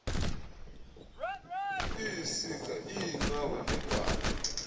iisiga iinqawe negwada